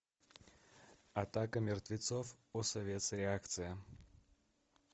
атака мертвецов осовец реакция